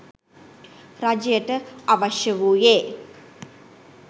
රජයට අවශ්‍ය වූයේ